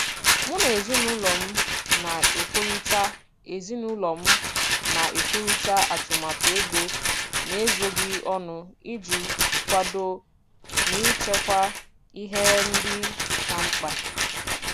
Mụ na ezinụlọ m na-ekwurịta ezinụlọ m na-ekwurịta atụmatụ ego n'ezoghị ọnụ iji kwadoo n'ichekwa ihe ndị ka mkpa.